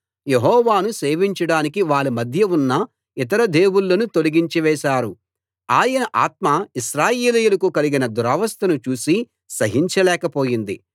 యెహోవాను సేవించడానికి వాళ్ళ మధ్య ఉన్న ఇతర దేవుళ్ళను తొలగించివేసారు ఆయన ఆత్మ ఇశ్రాయేలీయులకు కలిగిన దురవస్థను చూసి సహించలేక పోయింది